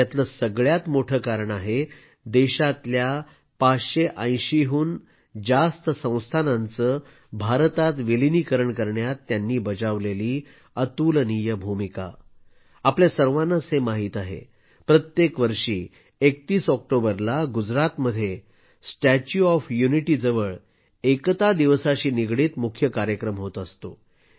यातलं सगळ्यात मोठं कारण आहे देशातल्या 580 हून जास्त संस्थानांचं भारतात विलीनीकरण करण्यात त्यांनी बजावलेली अतुलनीय भूमिका आपल्या सर्वांनाच हे माहित आहे प्रत्येक वर्षी 31 ऑक्टोबरला गुजरात मध्ये स्टॅच्यू ऑफ युनिटी अर्थात एकतेच्या पुतळ्याजवळ एकता दिवसाशी निगडीत मुख्य कार्यक्रम होत असतो